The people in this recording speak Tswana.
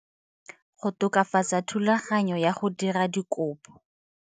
Go tokafatsa thulaganyo ya go dira dikopo.